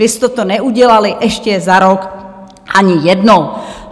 Vy jste to neudělali ještě za rok ani jednou.